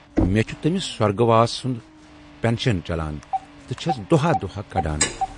مے چھُ تٔمِس سۅرگہٕ واس سُند پینشن چلان تہٕ چھَس دۅہا دۅہا کڈان۔